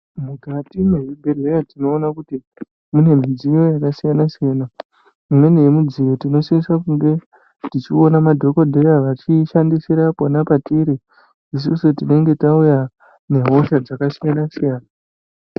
Mukati mevibhedhlera tinoona kuti mune midziyo yakasiyana siyana imweni yemidziyo tinosisa kunge tichiona madhokodheya vachiishandisire patiri isusu tinenge tauya nehosha dzakasiyana siyana.